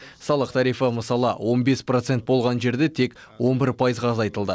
салық тарифі мысалы он бес процент болған жерде тек он бір пайызға азайтылды